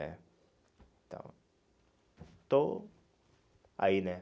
né Então, estou aí, né?